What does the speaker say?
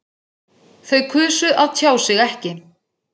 Þau kusu að tjá sig ekki